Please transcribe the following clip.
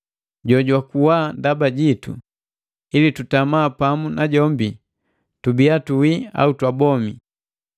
jojwakuwa ndaba jitu, ili tutama pamu na jombi, tubia tuwi au twabomi.